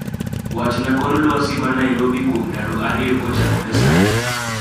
wachna kor lwasi ma Narobi kuom ndalo ariyo kochakore sani